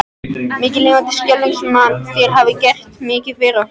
Mikið lifandis skelfing sem þér hafið gert mikið fyrir okkur.